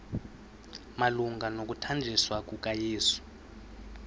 malunga nokuthanjiswa kukayesu